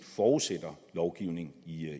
forudsætter lovgivning